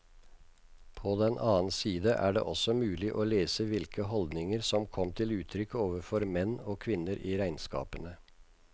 På den annen side er det også mulig å lese hvilke holdninger som kom til uttrykk overfor menn og kvinner i regnskapene.